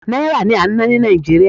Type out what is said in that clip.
Náírà ni à ń ná ní Nàìjíríà.